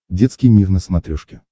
детский мир на смотрешке